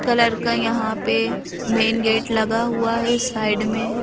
Colour का यहाँ पे मेन गेट लगा हुआ है साइड में।